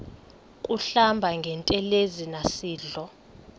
kuhlamba ngantelezi nasidlo